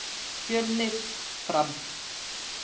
Fjölnir- Fram